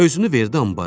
Özünü verdi ambara.